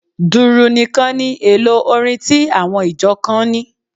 Dùrù nìkan ni èlò orin tí àwọn ìjọ kan ní.